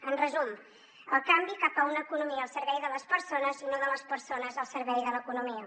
en resum el canvi cap a una economia al servei de les persones i no de les persones al servei de l’economia